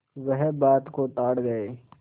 वह बात को ताड़ गये